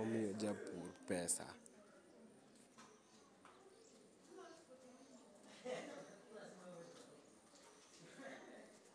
omiyo japur pesa .